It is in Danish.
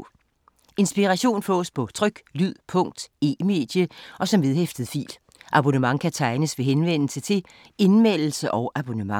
Inspiration fås på tryk, lyd, punkt, e-medie og som vedhæftet fil. Abonnement kan tegnes ved henvendelse til Indmeldelse og abonnement.